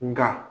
Nga